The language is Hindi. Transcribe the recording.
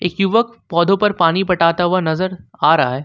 युवक पौधों पर पानी पटाता हुआ नजर आ रहा है।